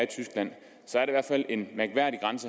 de skal